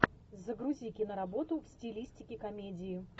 загрузи киноработу в стилистике комедии